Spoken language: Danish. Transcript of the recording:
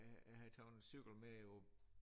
Jeg havde jeg havde taget en cykel med og